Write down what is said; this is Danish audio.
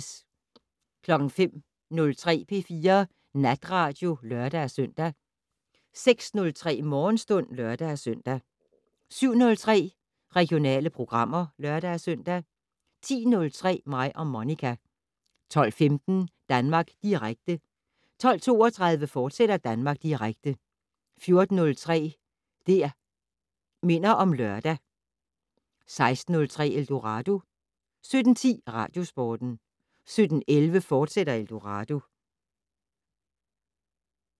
05:03: P4 Natradio (lør-søn) 06:03: Morgenstund (lør-søn) 07:03: Regionale programmer (lør-søn) 10:03: Mig og Monica 12:15: Danmark Direkte 12:32: Danmark Direkte, fortsat 14:03: Det' Minder om Lørdag 16:03: Eldorado 17:10: Radiosporten 17:11: Eldorado, fortsat